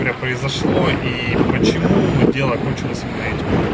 горе произошло и почему дело кончилось именно этим